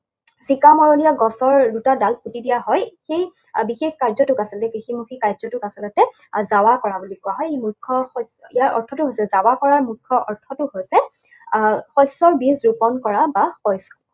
চিকা মৰলীয়া গছৰ দুটা ডাল পুতি দিয়া হয়, সেই বিশেষ কাৰ্যটোক আচলতে কৃষিমুখী কাৰ্যটোক আচলতে দাৱা কৰা বুলি কোৱা হয়। ই মুখ্য ইয়াৰ অৰ্থটো হৈছে, দাৱা কৰাৰ মুখ্য অৰ্থটো হৈছে, আহ শস্যবীজ ৰোপন কৰা বা